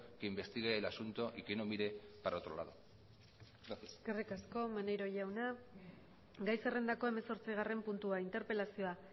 que investigue el asunto y que no mire para otro lado eskerrik asko maneiro jauna gai zerrendako hemezortzigarren puntua interpelazioa